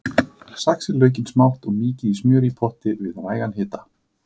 Saxið laukinn smátt og mýkið í smjöri í potti við vægan hita.